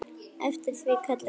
Eftir því kalla ég.